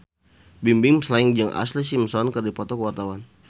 Bimbim Slank jeung Ashlee Simpson keur dipoto ku wartawan